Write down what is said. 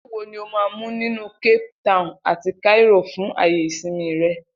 Ilu wo ni o máa mú nínú Cape Town àti Cairo fún àyè ìsinmi rẹ?